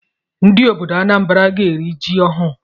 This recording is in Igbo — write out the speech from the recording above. Ndị obodo Anambra ga-eri ji ọhụụ